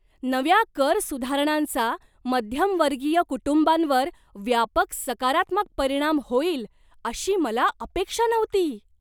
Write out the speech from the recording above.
नव्या कर सुधारणांचा मध्यमवर्गीय कुटुंबांवर व्यापक सकारात्मक परिणाम होईल अशी मला अपेक्षा नव्हती.